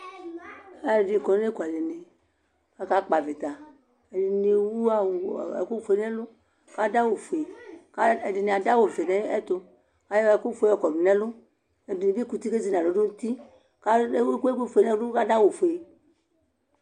Aluɛdini kɔ nʋ ekualɛnekakakpavitaƐdini ewu awu, ekufue nʋwɔ, kaduawufue ɛdini adu awu vɛ nayɛtukayɔ ɛkʋ fue kɔdu nɛlʋƐdini bi kuti kezinalɔnutiKewu ɛkʋfue nɛlʋ kaduawufue